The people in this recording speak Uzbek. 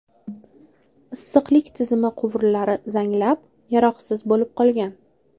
Issiqlik tizimi quvurlari zanglab, yaroqsiz bo‘lib qolgan.